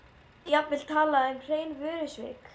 Mátti jafnvel tala um hrein vörusvik.